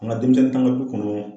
An ka denmisɛnnin t'an ka du kɔnɔ